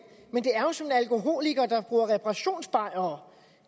alkoholiker der bruger reparationsbajere